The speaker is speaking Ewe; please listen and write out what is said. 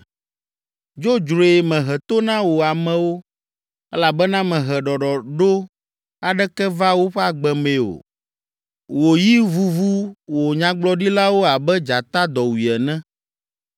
“Dzodzroe mehe to na wò amewo, elabena mehe ɖɔɖɔɖo aɖeke va woƒe agbe mee o. Wò yi vuvu wò nyagblɔɖilawo abe dzata dɔwui ene.